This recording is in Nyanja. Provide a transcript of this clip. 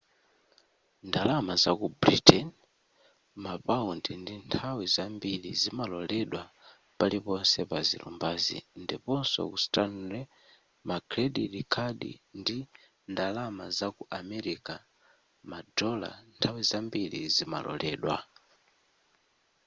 ndalama zaku britain mapaundi nthawi zambiri zimaloredwa paliponse pa zilumbazi ndiponso ku stanley ma credit card ndi ndalama zaku america ma dollar nthawi zambiri zimaloredwa